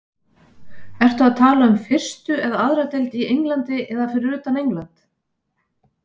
Ertu að tala um fyrstu eða aðra deild í Englandi eða fyrir utan England?